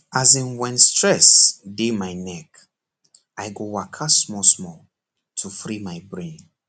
as in when stress dey my neck i go waka smallsmall to free my brain